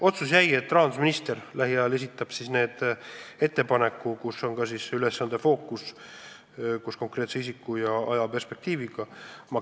Otsus oli, et rahandusminister lähiajal esitab oma ettepanekud, andes teada ka ülesande fookuse koos konkreetse isiku ja ajaperspektiiviga.